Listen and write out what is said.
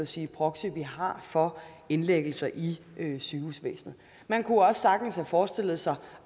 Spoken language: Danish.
sige proxy vi har for indlæggelser i sygehusvæsenet man kunne også sagtens forestille sig